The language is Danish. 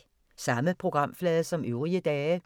Samme programflade som øvrige dage